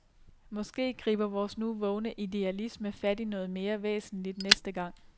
Måske griber vores nu vågne idealisme fat i noget mere væsentligt næste gang.